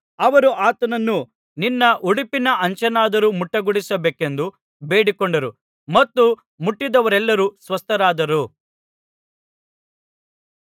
ಅವರು ಆತನನ್ನು ನಿನ್ನ ಉಡುಪಿನ ಅಂಚನ್ನಾದರೂ ಮುಟ್ಟಗೊಡಿಸಬೇಕೆಂದು ಬೇಡಿಕೊಂಡರು ಮತ್ತು ಮುಟ್ಟಿದವರೆಲ್ಲರು ಸ್ವಸ್ಥರಾದರು